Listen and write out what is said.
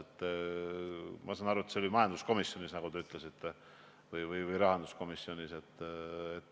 Ma saan aru, et see oli majanduskomisjonis, nagu te ütlesite, või rahanduskomisjonis.